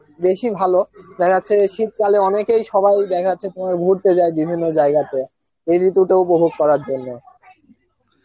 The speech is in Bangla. বেসি ভালো, দেখা যাচ্ছে শীত কালে অনেকেই সবাই দেখা যাচ্ছে কথাও ঘুরতে যাচ্ছে বিভিন্ন জায়গাতে, এই ঋতু টা উপভোগ করার জন্য